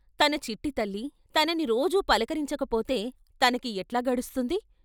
తన చిట్టితల్లి, తనని రోజూ పలకరించకపోతే తనకి ఎట్లా గడుస్తుంది?